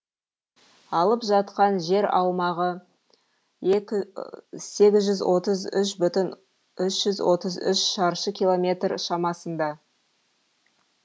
алып жатқан жер аумағы сегіз жүз отыз үш бүтін үш жүз отыз үш шаршы километр шамасында